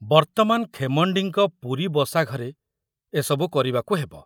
ବର୍ତମାନ ଖେମଣ୍ଡିଙ୍କ ପୁରୀ ବସାଘରେ ଏସବୁ କରିବାକୁ ହେବ।